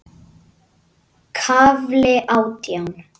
KAFLI ÁTJÁN